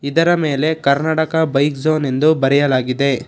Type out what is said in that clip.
ಇದರ ಮೇಲೆ Karnataka bike zone ಎಂದು ಬರೆಯಲಾಗಿದೆ.